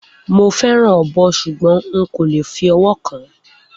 Mo fẹràn ọbọ sugbọn hun kole fi ọwọ kan.